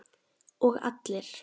Og allir?